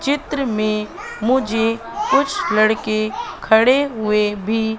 चित्र में मुझे कुछ लड़के खड़े हुए भी--